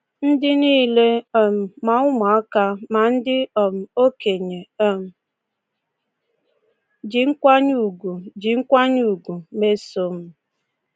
Ndị nile — um ma ụmụaka ma ndị um okenye um — ji nkwanye ugwu ji nkwanye ugwu mesoo m.